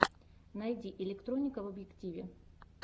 найди электроника в объективе